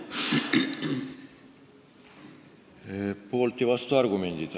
Poolt- ja vastuargumendid.